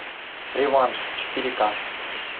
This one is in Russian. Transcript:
реванш четыре ка